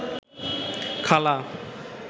খালা